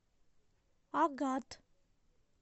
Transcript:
агат